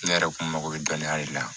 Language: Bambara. Ne yɛrɛ kun mago bɛ dɔnniya de la